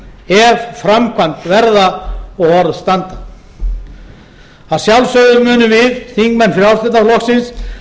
ef framkvæmd verða og orð standa að sjálfsögðu munum við þingmenn frjálslynda flokksins